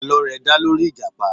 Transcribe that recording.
Àlọ́ rẹ̀ dá lórí ìjàpá.